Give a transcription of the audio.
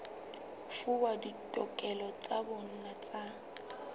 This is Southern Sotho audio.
fuwa ditokelo tsa bona tsa